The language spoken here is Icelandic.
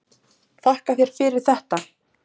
Þakka þér fyrir þetta.